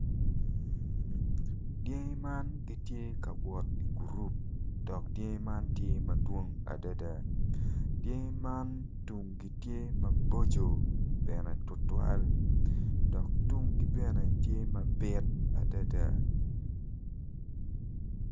Puc man obuto piny kun puc man kala kome tye macol nicuc kun opero ite tye ka winyo jami. Puc man bene tye ka neno.